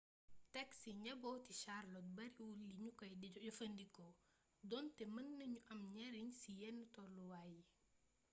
taksi njabooti charlotte bariwul li nu kay jëfandikoo doonte mën nanu am njariñ ci yenn toluwaay yi